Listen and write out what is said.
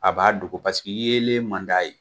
A b'a dogo yeelen man d'a ye.